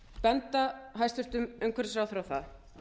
benda hæstvirtur umhverfisráðherra á það